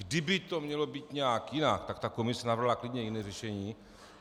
Kdyby to mělo být nějak jinak, tak ta komise navrhla klidně jiné řešení.